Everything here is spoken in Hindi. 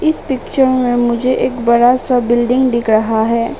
इस पिक्चर में मुझे एक बड़ा सा बिल्डिंग दिख रहा है।